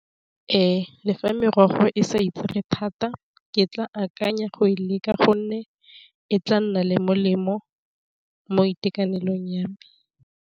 Ee le fa morago e sa itsege thata ke tla akanya go e leka gonne, e tla nna le molemo mo itekanelong ya me.